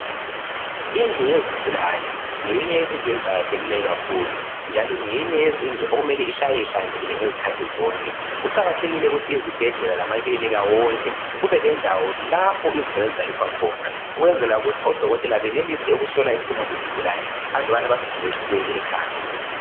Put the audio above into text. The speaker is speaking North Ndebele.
Indlu yezigulane ngeyinye yezindlu eziqakathekileyo kakhulu njalo ngeyinye yezindlu okumele ihlale ihlanzekile ngezikhathi zonke. Kuqakathekile ukuthi izibhedlela lamaklinika wonke, kubelendawo lapho izigulane ezilaliswa khona ukwenzela ukuthi oDokotela benelise ukuhlola isimo sesigulane andubana basivumele ukuba sibuyele ekhaya.